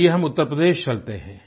आइये हम उत्तर प्रदेश चलते हैं